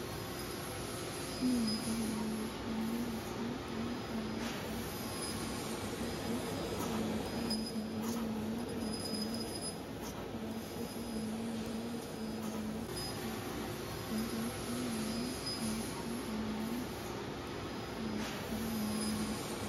tini misile leellishshannorichi kalaqonna qooxeessa ikkasi leellishshanno togo yaano kalaqo yaa baattote aana mure fulannorichooti qooxeessa yaa mitto ollaa wokkalanno.